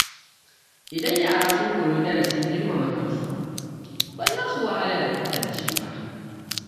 Idan yara sun koyi darasin girmama kansu, ba za su wahala da kwatance ba.